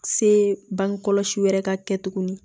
Se bange kɔlɔsi wɛrɛ ka kɛ tuguni